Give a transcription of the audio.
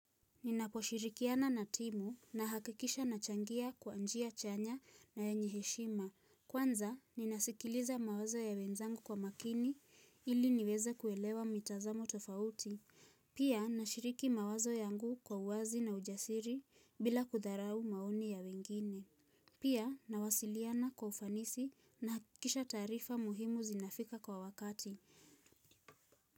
Ninaposhirikiana na timu nahakikisha nachangia kwa njia chanya na ye nyeheshima. Kwanza, ninasikiliza mawazo ya wenzangu kwa makini ili niweze kuelewa mitazamo tofauti. Pia, nashiriki mawazo yangu kwa uwazi na ujasiri bila kudharau maoni ya wengine. Pia, nawasiliana kwa ufanisi na hakikisha tarifa muhimu zinafika kwa wakati.